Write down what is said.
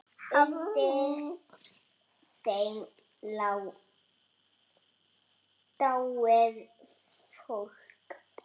Undir þeim lá dáið fólk.